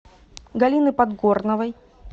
галины подгорновой